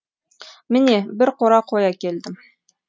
міне бір қора қой әкелдім